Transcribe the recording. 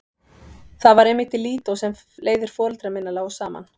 Það var einmitt í Lídó sem leiðir foreldra minna lágu saman.